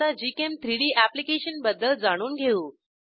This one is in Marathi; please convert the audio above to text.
आता gchem3डी अॅप्लिकेशनबद्दल जाणून घेऊ